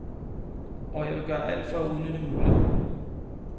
Og jeg vil gøre alt for at udnytte muligheden.